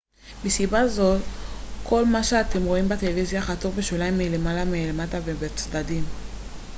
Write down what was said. מסיבה זו כל מה שאתם רואים בטלוויזיה חתוך בשוליים מלמעלה מלמטה ובצדדים